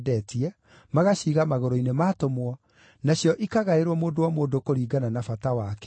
magaciiga magũrũ-inĩ ma atũmwo, nacio ikagaĩrwo mũndũ o mũndũ kũringana na bata wake.